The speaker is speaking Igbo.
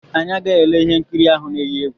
Anyị agaghị ele ihe nkiri ahụ na-eyi egwu.